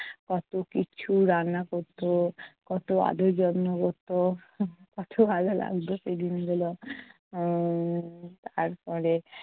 কত কিছু রান্না করতো কত আদর যত্ন করতো। কতো ভালো লাগতো সেই দিনগুলো উম তারপরে